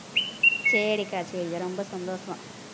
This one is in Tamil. சரிக்கா சரிக்கா ரொம்ப சந்தோஷம்